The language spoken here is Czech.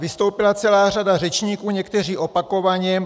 Vystoupila celá řada řečníků, někteří opakovaně.